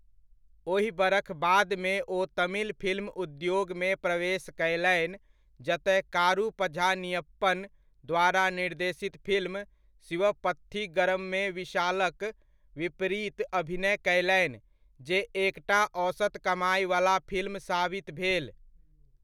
ओहि बरख बादमे ओ तमिल फिल्म उद्योगमे प्रवेश कयलनि जतय कारू पझानियप्पन द्वारा निर्देशित फिल्म शिवप्पथीगरममे विशालक विपरीत अभिनय कयलनि जे एकटा औसत कमाइवला फिल्म साबित भेल।